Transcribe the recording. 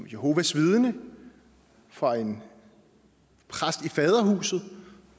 jehovas vidner for en præst i faderhuset